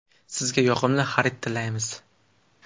Sizga yoqimli xarid tilaymiz!